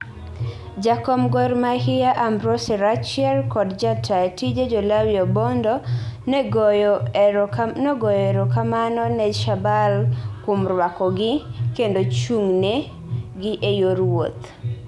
Jakom gor Mahia Ambrose Rachier kod ja taa tije Jolawi Obondo no goyo ero kamano ne Shabal kuom rwako gi kendo chungne gi e yor wuoth